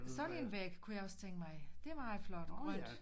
Sådan en væg kunne jeg også tænke mig det er meget flot grønt